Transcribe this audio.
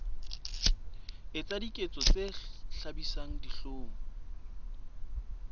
etsa diketso tse hlabisang dihlong